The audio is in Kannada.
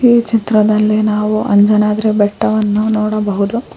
ಈ ಚಿತ್ರದಲ್ಲಿ ನಾವು ಅಂಜನಾದ್ರಿ ಬೆಟ್ಟವನ್ನು ನೋಡಬಹುದು.